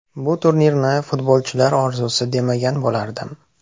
Bu turnirni futbolchilar orzusi demagan bo‘lardim.